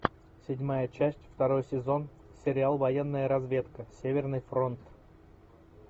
седьмая часть второй сезон сериал военная разведка северный фронт